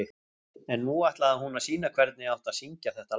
En nú ætlaði hún að sýna hvernig átti að syngja þetta lag.